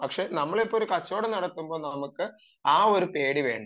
പക്ഷെ നമ്മൾ ഇപ്പോൾ ഒരു കച്ചവടം നടത്തുമ്പോൾ നമുക്ക് ആ ഒരു പേടി വേണ്ട